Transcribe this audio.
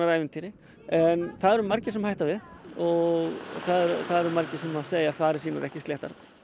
ævintýri en það eru margir sem hætta við og það eru margir sem segja farir sínar ekki sléttar